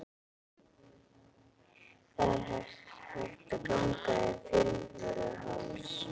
Það er hægt að ganga yfir Fimmvörðuháls.